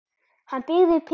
Hann byggði Pétri